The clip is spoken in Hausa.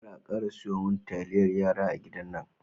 kar ka kara siyumin taliyar yara a gidan nan.